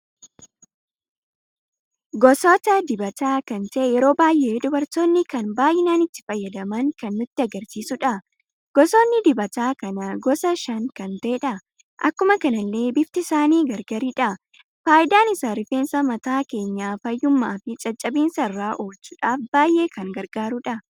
Goosota dibata kan ta'e yeroo baay'ee dubartoonni kan baay'inaan itti fayyadaman kan nutti agarsiisudha. goosonni dibata kana gosa shan kan ta'edha. Akkuma kanalle bifti isaanii gargaridha. Faayidaan isa rifeensa mataa keenya fayyumma fi caccabinsa irra oolchudhaf baay'ee kan gargaruudha.